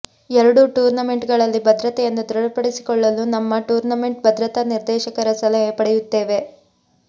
ಎರಡೂ ಟೂರ್ನಮೆಂಟ್ಗಳಲ್ಲಿ ಭದ್ರತೆಯನ್ನು ದೃಢಪಡಿಸಿಕೊಳ್ಳಲು ನಮ್ಮ ಟೂರ್ನಮೆಂಟ್ನ ಭದ್ರತಾ ನಿರ್ದೇಶಕರ ಸಲಹೆ ಪಡೆಯುತ್ತೇವೆ